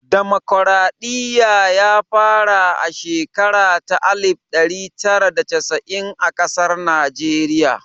Damokaraɗiya ya fara a shekara ta alif ɗari tara da casa'in a ƙasar Najeriya